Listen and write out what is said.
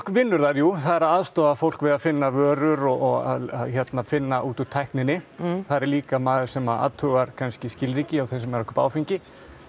vinnur þar jú það er að aðstoða fólk við að finna vörur og finna út úr tækninni þar er líka maður sem að athugar kannski skilríki hjá þeim sem eru að kaupa áfengi